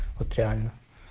вот реально